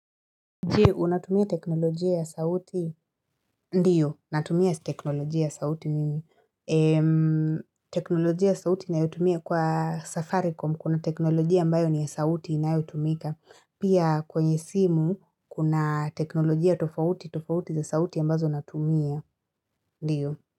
Je, unatumia teknolojia ya sauti? Ndiyo, natumia teknolojia ya sauti mimi teknolojia ya sauti na ninayotumiwa kwa Safaricom, kuna teknolojia ambayo ni ya sauti na inayotumika. Pia kwenye simu, kuna teknolojia tofauti, tofauti za sauti ambazo natumia, ndio.